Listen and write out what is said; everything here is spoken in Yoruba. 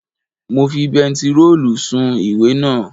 Mo fi bentiróòlù sun ìwé naa